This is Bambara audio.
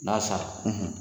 N'a sara